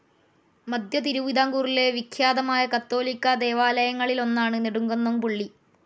മധ്യതിരുവിതാംകൂറിലെ വിഖ്യാതമായ കത്തോലിക്കാ ദേവാലങ്ങളിലൊന്നാണ്‌ നെടുംകുന്നം പള്ളി.